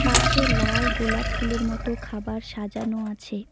পাশে লাল গোলাপ ফুলের মতো খাবার সাজানো আছে।